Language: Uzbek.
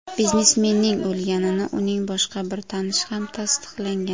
Biznesmenning o‘lganini uning boshqa bir tanishi ham tasdiqlagan.